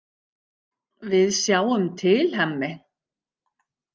Við sjáum til, Hemmi.